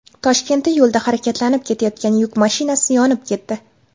Toshkentda yo‘lda harakatlanib ketayotgan yuk mashinasi yonib ketdi.